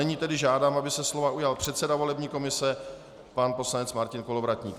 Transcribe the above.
Nyní tedy žádám, aby se slova ujal předseda volební komise pan poslanec Martin Kolovratník.